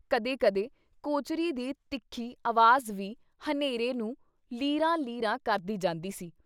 ਕਦੇ ਕਦੇ ਕੋਚਰੀ ਦੀ ਤਿੱਖੀ ਅਵਾਜ਼ ਵੀ ਹਨੇਰੇ ਨੂੰ ਲੀਰਾਂ-ਲੀਰਾਂ ਕਰਦੀ ਜਾਂਦੀ ਸੀ।